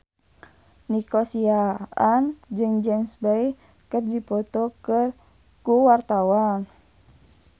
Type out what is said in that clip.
Nico Siahaan jeung James Bay keur dipoto ku wartawan